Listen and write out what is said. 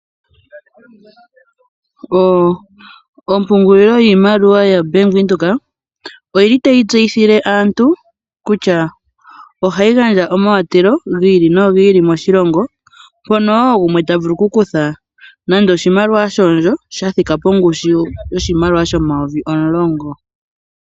Ompungulilo yiimaliwa yoBank Windhoek oyi li tayi tseyithile aantu kutya ohayi gandja omawatelo gi ili nogi ili moshilongo, mpono wo gumwe ta vulu okukutha nando oshimaliwa shondjo sha thika pongushu yoshimaliwa shomayovi omulongo.